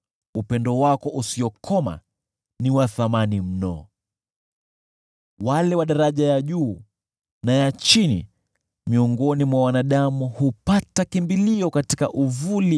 Upendo wako usiokoma ni wa thamani mno! Watu wakuu na wadogo hujificha uvulini wa mbawa zako.